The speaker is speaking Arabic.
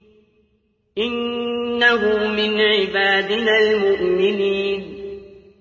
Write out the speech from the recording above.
إِنَّهُ مِنْ عِبَادِنَا الْمُؤْمِنِينَ